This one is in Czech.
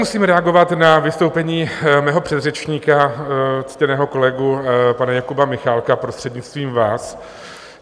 Musím reagovat na vystoupení mého předřečníka, ctěného kolegu pana Jakuba Michálka, prostřednictvím vás.